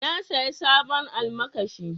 Na saya sabon almakashi.